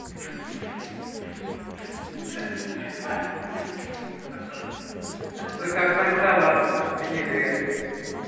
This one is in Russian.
заказать салат винегрет